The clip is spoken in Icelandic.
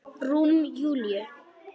Rúm Júlíu.